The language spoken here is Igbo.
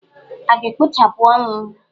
A ga-ekpochapụ ọnwụ?